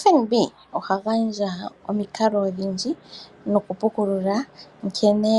FNB oha gandja omikalo odhindji nokupukulula nkene